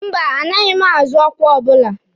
Mba, anaghị m azọ ọkwa ọbụla.